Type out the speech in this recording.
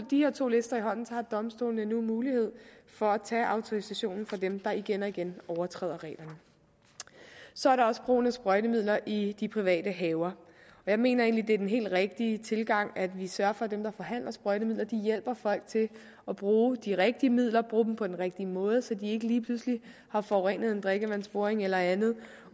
de her to lister i hånden har domstolene nu mulighed for at tage autorisationen fra dem der igen og igen overtræder reglerne så er der også brugen af sprøjtemidler i de private haver jeg mener egentlig det er den helt rigtige tilgang at vi sørger for at dem der forhandler sprøjtemidler hjælper folk til at bruge de rigtige midler og bruge dem på den rigtige måde så de ikke lige pludselig har forurenet en drikkevandsboring eller andet